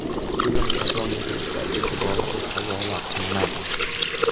Film qachon muxlislar e’tiboriga havola qilinadi?